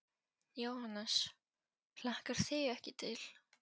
Jóhannes: Hlakkar þig ekki til?